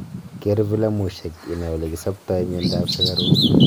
keer vilamushek inai olekisaptai miando ap sugaruk